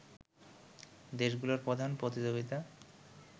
দেশগুলোর প্রধান প্রতিযোগিতা